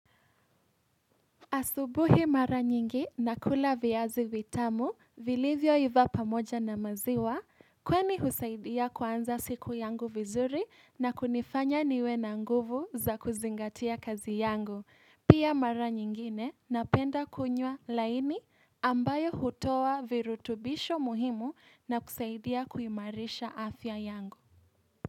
Asubuhi mara nyingi nakula viazi vitamu, vilivyo iva pamoja na maziwa, kwani husaidia kuanza siku yangu vizuri na kunifanya niwe na nguvu za kuzingatia kazi yangu. Pia mara nyingine napenda kunywa laini ambayo hutoa virutubisho muhimu na kusaidia kuimarisha afya yangu.